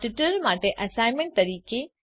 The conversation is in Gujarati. આ ટ્યુટોરીયલ માટે એસાઈનમેંટ તરીકે